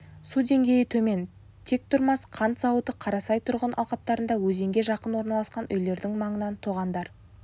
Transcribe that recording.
су деңгейі төмен тектұрмас қант зауыты қарасай тұрғын алқаптарында өзенге жақын орналасқан үйлердің маңынан тоғандар